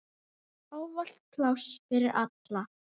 Ávallt pláss fyrir alla.